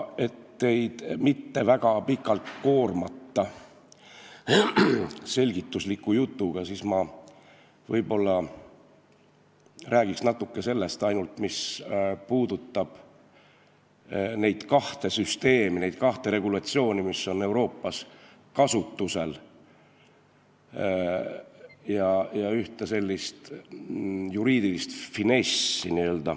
Et teid mitte väga pikalt koormata selgitusliku jutuga, räägin natuke ainult sellest, mis puudutab kahte süsteemi, mis on Euroopas kasutusel, ja ühte n-ö juriidilist finessi.